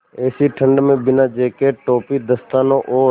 ऐसी ठण्ड में बिना जेकेट टोपी दस्तानों और